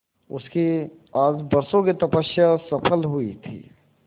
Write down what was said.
उसकी आज बरसों की तपस्या सफल हुई थी